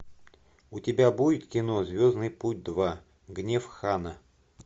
у тебя будет кино звездный путь два гнев хана